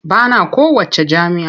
Ba na kowacce jam'iyya.